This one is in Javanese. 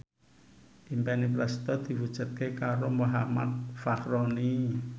impine Prasetyo diwujudke karo Muhammad Fachroni